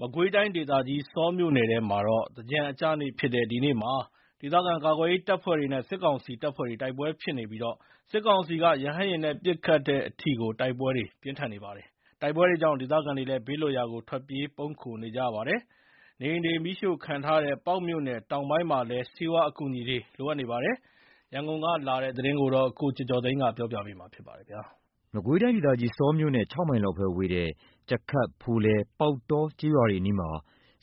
မကွေးတိုင်းဒေသကြီး ဆောမြို့နယ်ထဲမှာတော့ သင်္ကြန်အကျနေ့ဖြစ်တဲ့ ဒီနေ့မှာ ဒေသခံကာကွယ်ရေးတပ်ဖွဲ့တွေနဲ့ စစ်ကောင်စီ တပ်တွေ တိုက်ပွဲဖြစ်နေပြီး စစ်ကောင်စီက ရဟတ်ယာဉ်နဲ့ပစ်ခတ်တဲ့အထိ တိုက်ပွဲတွေပြင်းထန်နေပါတယ်။ တိုက်ပွဲတွေကြောင့် ဒေသခံတွေလည်း ဘေးလွတ်ရာ ထွက်ပြေး ပုန်းခိုနေကြရပါတယ်။ နေအိမ်တွေ မီးရှို့ခံထားရတဲ့ ပေါက်မြို့နယ် တောင်ပိုင်းမှာ လည်း ဆေးဝါးအကူအညီတွေ လိုအပ်နေပါတယ်။ ရန်ကုန်ကပေးပို့တဲ့ ဒီသတင်းကို ကိုကျော်ကျော်သိန်းက တင်ပြပေးထားပါတယ်။ မကွေးတိုင်းဒေသကြီး ဆောမြို့နဲ့ ၆ မိုင်ခန့်သာကွာဝေးတဲ့ ကြခတ်၊ ဖိုလယ်၊ ပေါက်တော ကျေးရွာတွေအနီးမှာ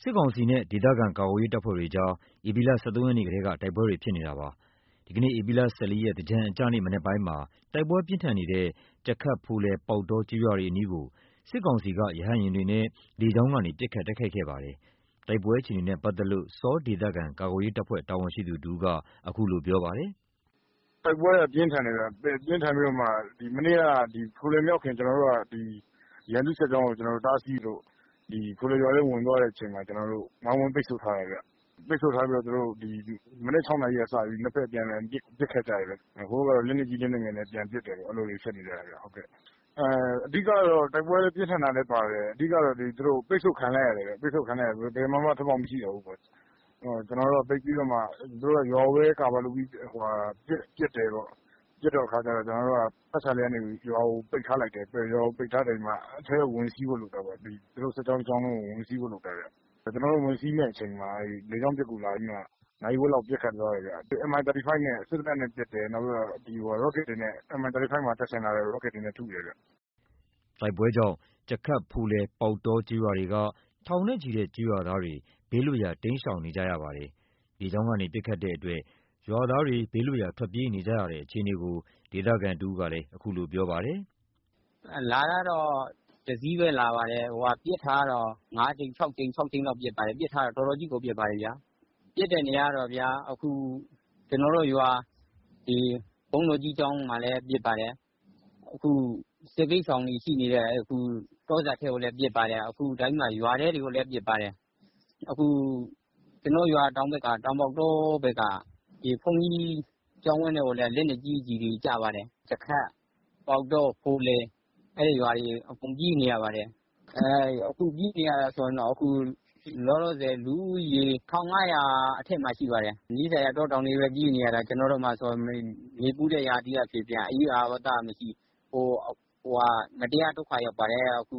စစ်ကောင်စီနဲ့ ဒေသခံကာကွယ်ရေးတပ်ဖွဲ့တွေ ဧပြီ ၁၃ ရက်ကတည်းက တိုက်ပွဲတွေ ဖြစ်နေတာပါ။ ဒီကနေ့ ဧပြီ ၁၄ ရက် သင်္ကြန်အကျနေ့ မနက်ပိုင်းမှာ တိုက်ပွဲတွေပြင်းထန်နေတဲ့ ကြခတ်၊ ဖိုလယ်၊ ပေါက်တော ကျေးရွာတွေအနီးကို စစ်ကောင်စီက ရဟတ်ယာဉ်တွေနဲ့ လေကြောင်းကနေ ပစ်ခတ် တိုက်ခိုက်ခဲ့ပါတယ်။ တိုက်ပွဲအခြေအနေနဲ့ ပတ်သက်လို့ ဆောဒေသခံကာကွယ်ရေးတပ်ဖွဲ့ တာဝန်ရှိသူတဦးက အခုလိုပြောပါတယ်။ “တိုက်ပွဲကပြင်းထန်တယ်။ မနေ့က ဖိုလယ်မရောက်ခင် ရန်သူ့စစ်ကြောင်းကိုတားဆီးလို့ ဖိုလယ်ရွာထဲ ဝင်သွားတဲ့အချိန်မှာ ကျနော်တို့ ဝိုင်းဝန်းပိတ်ဆို့ထားတယ်ဗျ။ ပိတ်ဆို့ထားတော့ မနက် ၆ နာရီကစပြီး ၂ ဘက်အပြန်အလှန် ပစ်ခတ်ကြတယ်။ ဟိုဘက်က လက်နက်ကြီး လက်နက်ငယ်နဲ့ ပြန်ပစ်တယ်ပေါ့။ အဲ့လိုတွေဖြစ်နေတယ်။ အဓိက တိုက်ပွဲပြင်းထန်တာလည်းပါတယ်။ ပိတ်ဆို့ခံလိုက်ရတဲ့အတွက် ဘယ်မှာမှ ထွက်ပေါက်မရှိတော့ဘူး။ သူတို့က ရွာကို Cover လုပ်ပြီး ပစ်တယ်ပေါ့။ ပစ်တဲ့အခါကျ တော့ ကျနော်တို့က ပတ်ချာလည် ရွာကိုပိတ်ထားလိုက်တယ်။ ရွာကို ပိတ်ပြီး အထဲကို ဝင်စီးဖို့လုပ်တဲ့အချိန်မှာ သူတို့ စစ်ကြောင်း တကြောင်းလုံးကို ဝင်စီးဖို့လုပ်တာဗျ။ ကျနော်တို့ ဝင်စီးမယ့်အချိန်မှာ လေကြောင်းပစ်ကူလာပြီး နာရီဝက်လောက် ပစ်ခတ်သွားတယ်။ Mi35 နဲ့ စက်သေနတ်နဲ့ပစ်တယ်။ နောက်ပြီး ရော့ကတ်တွေနဲ့ Mi35 မှာ တပ်ဆင်ထားတဲ့ ရော့ကတ်တွေနဲ့ ထုတယ်။” တိုက်ပွဲကြောင့် ကြခတ်၊ ဖိုလယ်၊ ပေါက်တော ကျေးရွာတွေက ထောင်နဲ့ချီတဲ့ ကျေးရွာသားတွေ ဘေးလွတ်ရာ တိမ်းရှောင်နေကြရ ပါတယ်။ လေကြောင်းကနေ ပစ်ခတ်တဲ့အတွက် ရွာသားတွေ ဘေးလွတ်ရာ ထွက်ပြေးနေကြရတဲ့ အခြေအနေကို ဒေသခံတဦး က အခုလိုပြောပါတယ်။ “လာတာက ၁ စီးထဲလာတယ်။ ပစ်တာက ၅ ကြိမ် ၆ ကြိမ် လောက်ပစ်ပါတယ်။ ပစ်တာက တော်တော်ကြီးကိုပစ်တယ်။ ပစ်တာ က ကျနော်တို့ရွာ ဘုန်းတော်ကြီးကျောင်းမှာလည်း ပစ်ပါတယ်။ အခု စစ်ဘေးရှောင်တွေရှိနေတဲ့ တောစပ်ထဲကိုလည်း ပစ်ပါ တယ်။ ရွာထဲတွေကိုလည်း ပစ်ပါတယ်။ ကျနော်တို့ရွာ တောင်ဘက်က ပေါက်တောရွာ ဘုန်းကြီးကျောင်းဝင်းထဲကိုလည်း လက်နက်ကြီးကျည်တွေကျပါတယ်။ ကြခတ်၊ ပေါက်တော၊ ဖိုလယ် အဲ့ရွာတွေ အကုန်ပြေးနေရတယ်။ အခုပြေးနေရတာ လောလောဆယ် လူဦးရေ ၁,၅၀၀ အထက်မှာ ရှိပါတယ်။ နီးစပ်ရာ တောတောင်တွေထဲပဲ ပြေးနေရတာ။ ကျနော်တို့မှာဆိုရင် နေပူတဲ့ရာသီကဖြစ်ပြန် အရိပ်အာဝါသကမရှိ မတရားဒုက္ခရောက်ပါတယ်။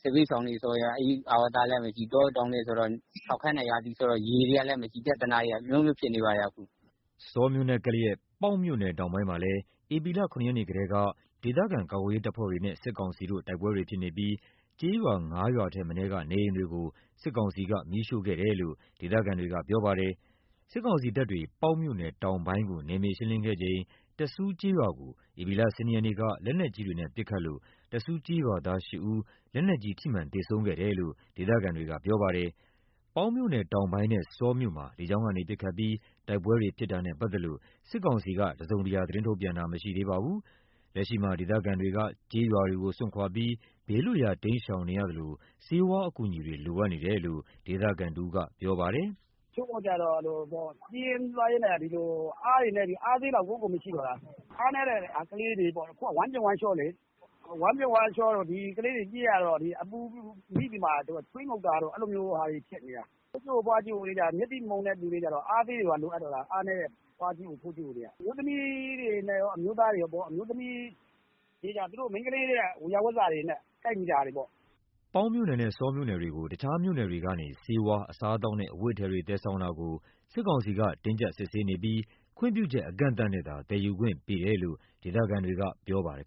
စစ်ဘေးရှောင်တွေဆိုရင် အရိပ်အာဝါသမရှိ တောတောင်ထဲဆိုတော့ ခြောက်ခမ်းတဲ့ရာသီဆိုတော့ ရေတွေကလည်းမရှိ ပြဿနာတွေက အမျိုးမျိုးဖြစ်နေပါတယ်။” ဆောမြို့နဲ့ကပ်လျက် ပေါက်မြို့နယ်တောင်ပိုင်းမှာလည်း ဧပြီ ၇ ရက်ကတည်းက ဒေသခံကာကွယ်ရေး တပ်ဖွဲ့တွေနဲ့ စစ်ကောင်စီ တို့ တိုက်ပွဲတွေဖြစ်နေပြီး ကျေးရွာ ၅ ရွာထက်မနည်းက နေအိမ်တွေကို စစ်ကောင်စီက မီးရှို့ခဲ့တယ်လို့ ဒေသခံတွေက ပြောပါတယ်။ စစ်ကောင်စီတပ်တွေ ပေါက်မြို့နယ်တောင်ပိုင်းကို နယ်မြေရှင်းလင်းခဲ့စဉ် တစူးကျေးရွာကို ဧပြီ ၁၂ ရက်က လက်နက်ကြီးတွေ ပစ်ခတ်ခဲ့လို့ တစူးကျေးရွာသား ၈ ဦး လက်နက်ကြီး ထိမှန် သေဆုံးခဲ့တယ်လို့ ဒေသခံတွေက ပြောပါတယ်။ ပေါက်မြို့နယ်တောင်ပိုင်းနဲ့ ဆောမြို့မှာ လေကြောင်းကနေပစ်ခတ်ပြီး တိုက်ပွဲတွေ ဖြစ်တာနဲ့ ပတ်သက်လို့ စစ်ကောင်စီက တစုံတရာ သတင်းထုတ်ပြန်တာမရှိသေးပါဘူး။ လက်ရှိမှာ ဒေသခံတွေက ကျေးရွာတွေကိုစွန့်ခွါပြီး ဘေးလွတ်ရာ တိမ်းရှောင်နေရသလို ဆေးဝါးအကူအညီတွေ လိုအပ်နေ တယ်လို့ ဒေသခံတဦးက ပြောပါတယ်။ “တချို့တွေက ပြေးရင်းလွှားရင်းနဲ့ အားနည်းပြီး အားဆေးမရှိတော့တာ။ အားနည်းတဲ့ကလေးတွေပေါ့ အခုက ဝမ်းပျက်ဝမ်းလျော လေ။ ဝမ်းပျက်ဝမ်းလျောတို့ ကလေးတွေက ပြေးရတော့ အပူမိပြီးမှ ချွေးငုတ်တာတို့ အဲ့လိုဟာတွေဖြစ်နေတာ။ အဖိုးကြီး အဖွား ကြီးအိုတွေ မျက်စိမှုန်တဲ့သူတွေကျတော့ အားဆေးတွေပါ လိုအပ်နေတာ အားနည်းတဲ့ အဖိုးကြီးအို အဖွားကြီးအိုတွေက အမျိုးသမီးတွေက အမျိုးသားတွေကောပေါ့။ အမျိုးသမီးတွေကြတော့ သူတို့ဝေယာဝစ္စတွေနဲ့ ကိုက်ညီတဲ့ဟာတွေပေါ့။” ပေါက်မြို့နယ်နဲ့ ဆောမြို့နယ်တွေကို တခြားမြို့တွေကနေ ဆေးဝါး အစားအသောက်နဲ့ အဝတ်အထည်တွေ သယ်ဆောင်တာကို စစ်ကောင်စီက တင်းကြပ် စစ်ဆေးနေပြီး ခွင့်ပြုချက် အကန့်အသတ်နဲ့သာ သယ်ယူခွင့်ပေးတယ်လို့ ဒေသခံတွေက ပြောပါတယ်